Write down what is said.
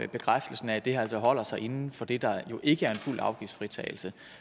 bekræftelsen af at det her altså holder sig inden for det der jo ikke er en fuld afgiftsfritagelse